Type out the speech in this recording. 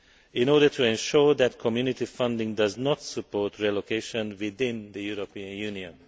in order to ensure that Community funding does not support relocation within the European Union.